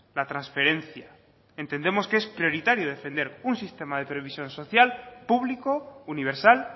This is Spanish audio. la transferencia entendemos que es prioritario defender un sistema de previsión social público universal